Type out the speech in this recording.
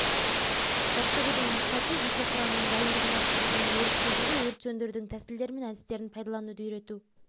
жаттығудың мақсаты жеке құрамның дайындығын арттыру және өрт кезінде өрт сөндірудің тәсілдері мен әдістерін пайдалануды үйрету